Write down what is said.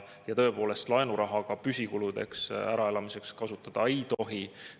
Ja tõepoolest laenuraha ka püsikuludeks, äraelamiseks kasutada ta ei tohi.